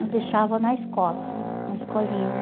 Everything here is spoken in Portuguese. Eu deixava na escola, hum, na escolinha